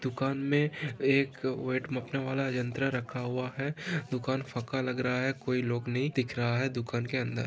दुकान मे वो एक वाला यंत्र रखा हूआ है दुकान फका लग रहा है कोई लोग नही दिख रहा है दुकान के अंदर।